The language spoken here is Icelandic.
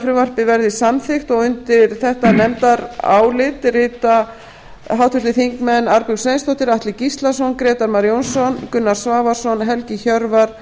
frumvarpið verði samþykkt undir þetta nefndarálit rita háttvirtir þingmenn arnbjörg sveinsdóttir atli gíslason grétar mar jónsson gunnar svavarsson helgi hjörvar